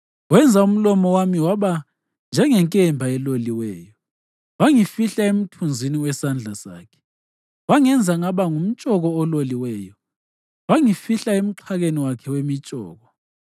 Wenza umlomo wami waba njengenkemba eloliweyo, wangifihla emthunzini wesandla sakhe. Wangenza ngaba ngumtshoko ololiweyo, wangifihla emxhakeni wakhe wemitshoko.